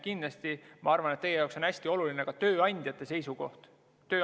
Kindlasti on teie jaoks hästi oluline ka tööandjate seisukoht.